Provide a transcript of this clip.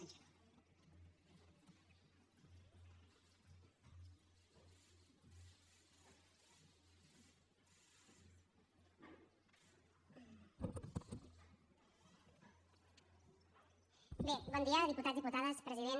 bé bon dia diputats diputades president